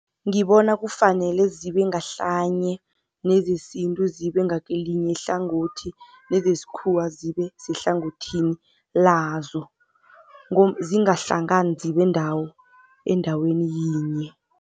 Ngibona kufanele zibe ngahlanye nezesintu zibe ngakelinye ihlangothi nezesikhuwa zibe sehlangothini lazo, zingahlangani zibe endaweni yinye.